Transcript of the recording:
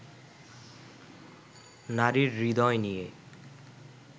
নারীর হৃদয় নিয়ে